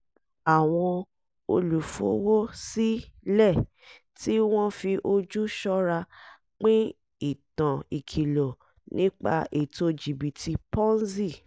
àwọn olùfowó-sí-lẹ̀ tí wọ́n fi ojú ṣọ́ra pín ìtàn ìkìlọ̀ nípa ètò jìbítì ponzi